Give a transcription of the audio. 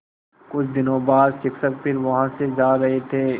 कुछ दिनों बाद शिक्षक फिर वहाँ से जा रहे थे